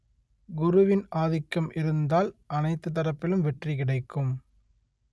குருவின் ஆதிக்கம் இருந்தால் அனைத்து தரப்பிலும் வெற்றி கிடைக்கும்